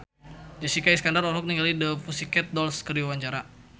Jessica Iskandar olohok ningali The Pussycat Dolls keur diwawancara